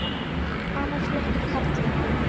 Annar flokkur karla.